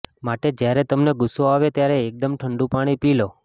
માટે જ્યારે તમને ગુસ્સો આવે ત્યારે એકદમ ઠંડુ પાણી પી લો